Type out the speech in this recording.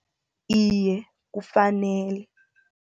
Iye, kufanele.